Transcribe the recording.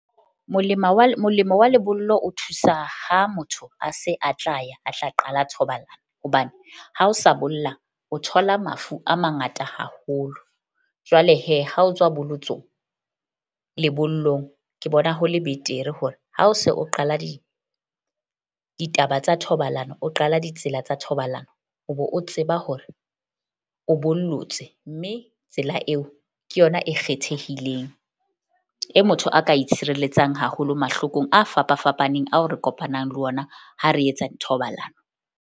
Molema wa molemo wa lebollo o thusa ha motho a se a tla ya a tla qala thobalano, hobane ha o sa bolla o thola mafu a mangata haholo. Jwale ha o tswa bolotsong lebollong ke bona ho le betere, hore ha o se o qala ditaba tsa thobalano. O qala ditsela tsa thobalano o be o tseba hore o bollotse. Mme tsela eo ke yona e kgethehileng e motho a ka itshireletsang haholo mahlokong a fapa fapaneng, ao re kopanang le ona ha re etsa thobalano.